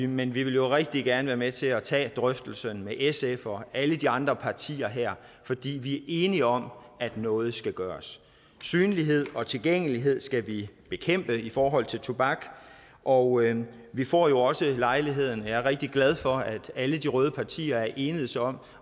men vi vil rigtig gerne være med til at tage drøftelsen med sf og alle de andre partier her fordi vi er enige om at noget skal gøres synlighed og tilgængelighed skal vi bekæmpe i forhold til tobak og vi får jo også lejligheden er rigtig glad for at alle de røde partier er enedes om